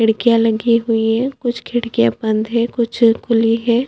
खिडकियाँ लगी हुयी है कुछ खिडकियाँ बंद है कुछ खुली है।